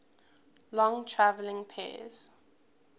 long traveling pairs